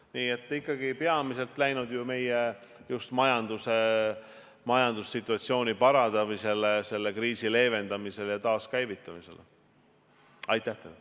Nii et ikkagi on see peamiselt läinud just meie majandussituatsiooni parandamiseks, selle kriisi leevendamiseks ja taaskäivitamiseks.